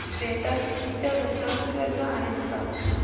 वेदांत च्या गुंतवणूक योजना आहेत का